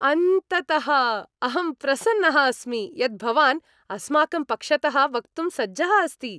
अन्ततः! अहं प्रसन्नः अस्मि यत् भवान् अस्माकं पक्षतः वक्तुं सज्जः अस्ति।